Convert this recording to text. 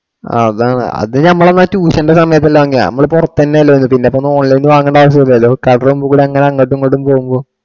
ആ അതാണ് അത് നമ്മള് മറ്റേ tuition എന്റെ സമയത്തെല്ലാം അങ്ങിനെയാ പുറത്തു തന്നെ അല്ലെന്ന് പിന്നിപ്പോ മുകളിലത് വാങ്ങേണ്ടേ ആവിശ്യം ഇല്ലല്ലോ അങ്ങോട്ടും ഇങ്ങോട്ടും പോകുമ്പോ.